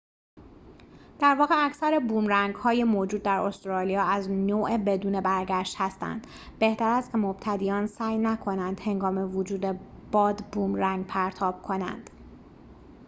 در واقع اکثر بومرنگ‌های موجود در استرالیا از نوع بدون برگشت هستند بهتر است که مبتدیان سعی نکنند هنگام وجود باد بومرنگ پرتاب کنند